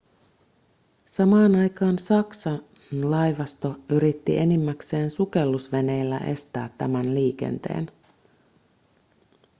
samaan aikaan saksan laivasto yritti enimmäkseen sukellusveneillä estää tämän liikenteen